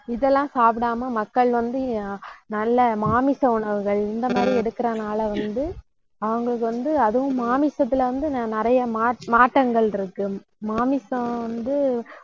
இதெல்லாம் சாப்பிடாம மக்கள் வந்து அஹ் நல்ல மாமிச உணவுகள், இந்த மாதிரி எடுக்கிறதுனால வந்து, அவங்களுக்கு வந்து அதுவும் மாமிசத்துல வந்து, நி~ நிறைய மா~ மாற்றங்கள் இருக்கு மாமிசம் வந்து